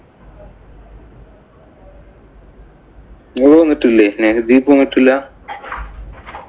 നിങ്ങള് വന്നിട്ടില്ലേ? നെഹദീഫ് വന്നിട്ടില്ലാ.